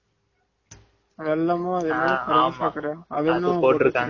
கல்ல போட்டுத்தறாம வெள்ளமும்